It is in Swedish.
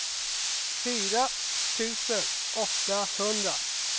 fyra tusen åttahundra